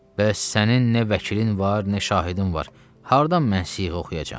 Bəs sənin nə vəkilin var, nə şahidin var, hardan mən siğə oxuyacam?